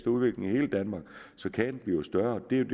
udvikling i hele danmark så kagen bliver større det er